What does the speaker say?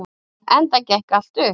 Enda gekk allt upp.